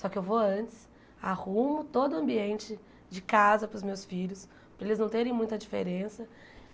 Só que eu vou antes, arrumo todo o ambiente de casa para os meus filhos, para eles não terem muita diferença.